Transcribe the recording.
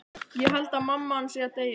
Ég held að mamma hans sé að deyja.